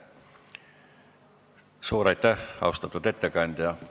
Suur aitäh, austatud ettekandja!